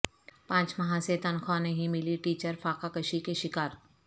پانچ ماہ سے تنخواہ نہیں ملی ٹیچر فاقہ کشی کے شکار